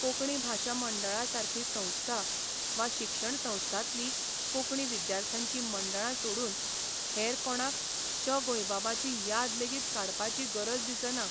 कोंकणी भाशा मंडळा सारकी संस्था वा शिक्षणसंस्थांतलीं कोंकणी विद्यार्थ्यांचीं मंडळां सोडून हेर कोणाक श गोंयबाबाची याद लेगीत काडपाची गरज दिसना.